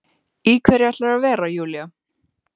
Í hverju ætlarðu að vera Júlía?